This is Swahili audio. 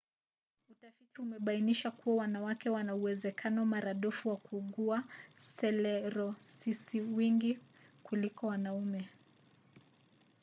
utafiti umebainisha kuwa wanawake wana uwezekano maradufu wa kuugua selerosisiwingi kuliko wanaume